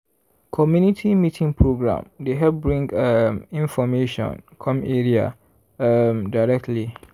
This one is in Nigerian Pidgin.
community meeting program dey help bring um information come area um directly.